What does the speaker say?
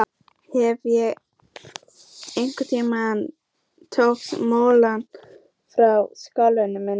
Hefi ég ekki einmitt fórnað mammoni fyrir sálu mína?